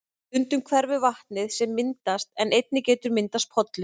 Stundum hverfur vatnið sem myndast en einnig getur myndast pollur.